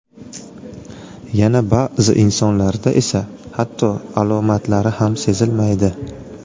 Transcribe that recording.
Yana ba’zi insonlarda esa hatto alomatlari ham sezilmaydi.